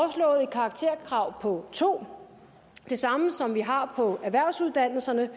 karakterkrav på to det samme som vi har på erhvervsuddannelserne